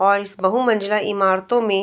और इस बहु मज़िला इमारतों में --